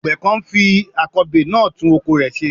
Àgbẹ̀ kan ń fi akọbè náà tún oko rẹ̀ ṣe.